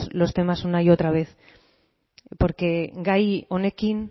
los temas una otra vez porque gai honekin